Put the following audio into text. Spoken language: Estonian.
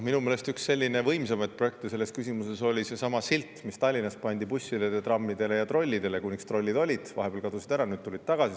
Minu meelest üks võimsamaid projekte selles küsimuses oli seesama silt, mis Tallinnas pandi bussidele, trammidele ja trollidele, kuni trollid olid olemas, vahepeal trollid ju kadusid ära, aga nad tulevad tagasi.